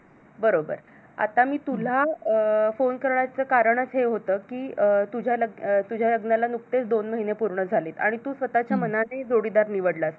बरोबर आता मी तुला अं PHONE करण्याच कारण हे होतं कि तुझ्या लग्नाला नुकतेच दोन महिने पूर्ण झाली आणि तू स्वतःच्या मानाने जोडीदार निवडलास